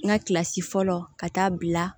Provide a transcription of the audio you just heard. N ka kilasi fɔlɔ ka taa bila